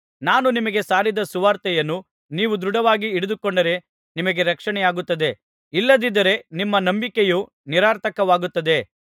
ನಾನು ನಿಮಗೆ ಸಾರಿದ ಸುವಾರ್ತೆಯನ್ನು ನೀವು ದೃಢವಾಗಿ ಹಿಡಿದುಕೊಂಡರೆ ನಿಮಗೆ ರಕ್ಷಣೆಯಾಗುತ್ತದೆ ಇಲ್ಲದಿದ್ದರೆ ನಿಮ್ಮ ನಂಬಿಕೆಯು ನಿರರ್ಥಕವಾಗುತ್ತದೆ